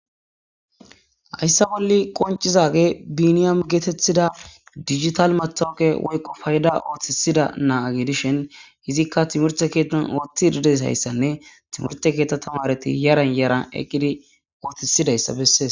hayssa bolli qoncizage biiniyam geetettida digital matooke woyqo payda ooththisida naaage dishen hizikka timorte keettan ooothti dides hayssanne timurte keetta tamareti yaran yaran eqqidi ootisidayssa bessees